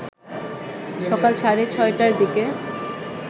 সকাল সাড়ে ৬টার দিকে